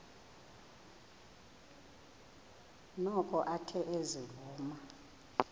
noko athe ezivuma